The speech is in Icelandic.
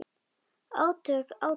Átök, átök.